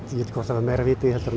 hvort það var meira vit í því heldur